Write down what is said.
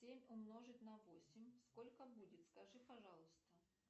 семь умножить на восемь сколько будет скажи пожалуйста